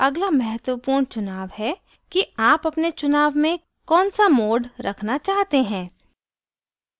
अगला महत्वपूर्ण चुनाव है कि आप अपने चुनाव में कौनसा mode रखना चाहते हैं